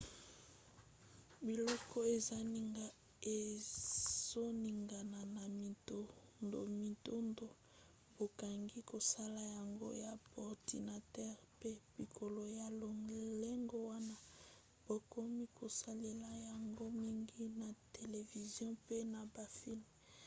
biloko ezoningana ya mindondomindondo bakoki kosala yango na baordinatere mpe biloko ya lolenge wana bakomi kosalela yango mingi na televizio mpe na bafilme